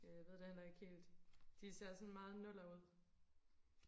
ja jeg ved det heller ikke helt de ser sådan meget nuller ud